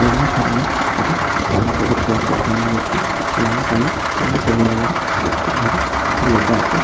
room -এর সামনে একটা সাইনবোর্ড দেখতে পাচ্ছি সাইনবোর্ড -টি লাল কালো এবং কমলা কালার -এর চেক চেক ভাবে কিছু লেখা আছে--